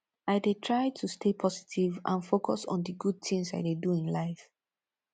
i dey try to stay positive and focus on di good things i dey do in life